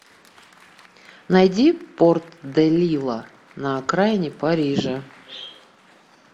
найди порт де лила на окраине парижа